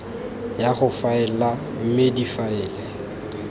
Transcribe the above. ya go faela mme difaele